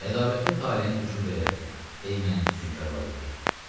Ədavətli taleyin hökmü belədir, ey mənim füsunkar Valeriya.